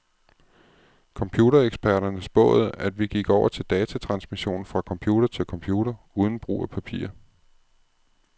Computereksperterne spåede, at vi gik over til datatransmission fra computer til computer, uden brug af papir.